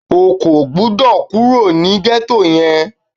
O kò gbọ́dọ̀ kúrò ní gẹ́tò yẹn!